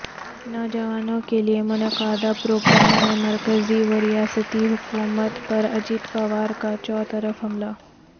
نوجوانوں کیلئے منعقدہ پروگرام میں مرکزی وریاستی حکومتوں پر اجیت پوار کاچوطرفہ حملہ